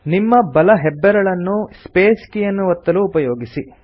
ನಿಮ್ಮ ಬಲ ಹೆಬ್ಬೆರಳನ್ನು ಸ್ಪೇಸ್ ಎಂಬ ಕೀಯನ್ನು ಒತ್ತಲು ಉಪಯೋಗಿಸಿ